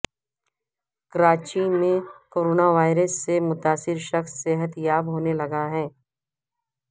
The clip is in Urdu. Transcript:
کراچی میں کوروناوائرس سے متاثرہ شخص صحت یاب ہونے لگا